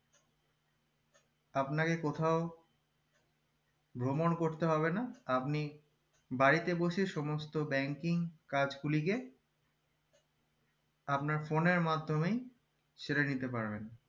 আপনাকে কোথাও ভ্রমণ করতে হবে না আপনি বাড়িতে বসেই সমস্ত banking কাজ গুলিকে আপনার phone এর মাধ্যমেই সেরে নিতে পারবেন